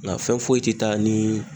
Nga fɛn foyi te taa nii